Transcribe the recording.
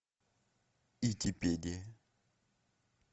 итипедия